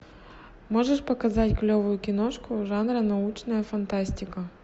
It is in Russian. можешь показать клевую киношку жанра научная фантастика